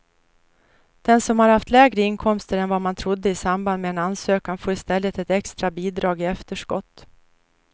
Den som har haft lägre inkomster än vad man trodde i samband med ansökan får i stället ett extra bidrag i efterskott.